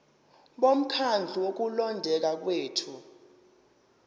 bomkhandlu wokulondeka kwethu